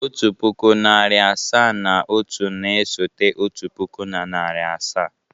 Otu pụkụ, narị asaa na otu na-esote otu puku na narị asaa.